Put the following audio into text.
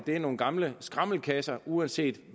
nogle gamle skramlekasser og uanset